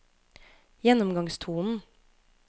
gjennomgangstonen